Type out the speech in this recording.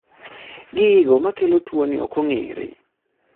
gigo makelo tuoni ok ong'ere